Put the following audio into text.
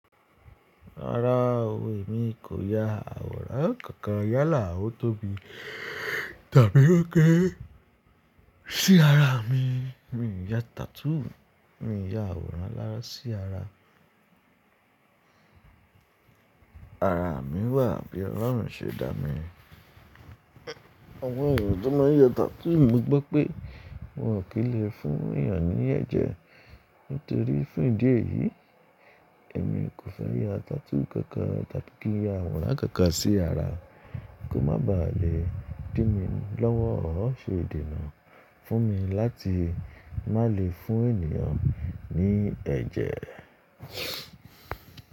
Rárá òwe mi kò ya àwòrán kankan yálà ó tóbi, tàbí ó kére sí ara mi. Mi ò ya tattoo, mi ò ya àwòrán alárá sí ara. Ara mi wà bí Ọlọ́run ṣe dá mi. Àwọn ènìyàn tó máa ń ya tattoo mo gbọ́ pé wọn ò kí ń lè fún ènìyàn ní ẹ̀jẹ̀ nítorí fún ìdí èyí èmi kò fẹ́ ya tattoo kankan tàbí kí n ya àwòrán kankan sí ara. Kò má ba à lè dín mi lọ́wọ́, ó ṣe idìnà fún mi láti má lè fún ènìyàn ní ẹ̀jẹ̀.